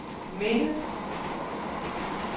minde